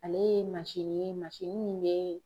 Ale ye ye min bɛ